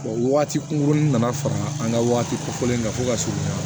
Wa waati kunkurunin nana fara an ka wagati kofɔlen na fo ka surunya